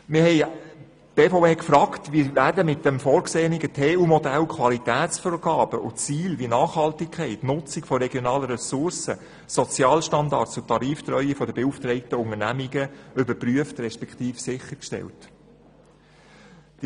Die BVE hat gefragt, wie mit dem vorgesehenen TU-Modell Qualitätsvorgaben und Ziele wie Nachhaltigkeit, die Nutzung von regionalen Ressourcen, Sozialstandards und Tariftreue der beauftragten Unternehmungen überprüft respektive sichergestellt werden.